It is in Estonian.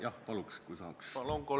Jah, palun, kui saaks!